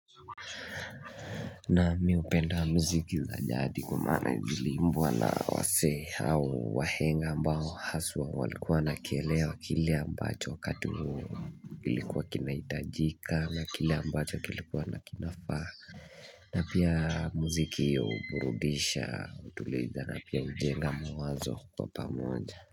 Na miupenda muziki za jadi kwa maana ziliimbwa na waseh hao wahenga ambao haswa walikuwa wanakielewa kile ambacho wakati huo kilikuwa kinaitajika na kile ambacho kilikuwa na kinafaa. Hh na pia muziki uburudisha utuliza na pia hujenga mawazo kwa pamoja.